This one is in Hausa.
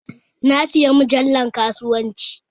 Na saya mujallar kasuwanci